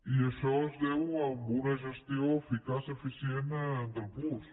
i això es deu a una gestió eficaç eficient del puosc